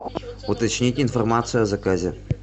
уточнить информацию о заказе